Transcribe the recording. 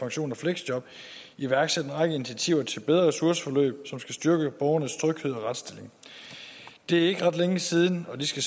og fleksjob iværksat en række initiativer til bedre ressourceforløb som skal styrke borgernes tryghed og retsstilling det er ikke ret længe siden og det skal